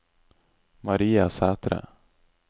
Maria Sæthre